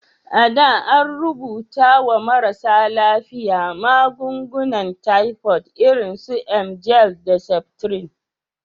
A da, an rubuta wa marasa lafiya magungunan tifod irin su emgyl da septrin.